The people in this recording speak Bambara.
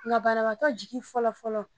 Nka banabaatɔ jigi fɔlɔ fɔlɔ